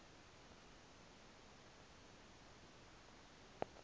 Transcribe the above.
aku khova usonti